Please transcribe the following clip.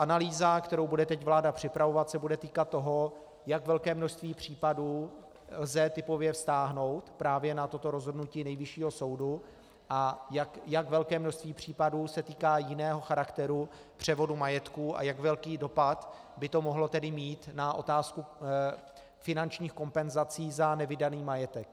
Analýza, kterou bude teď vláda připravovat, se bude týkat toho, jak velké množství případů lze typově vztáhnout právě na toto rozhodnutí Nejvyššího soudu a jak velké množství případů se týká jiného charakteru převodu majetku a jak velký dopad by to mohlo tedy mít na otázku finančních kompenzací za nevydaný majetek.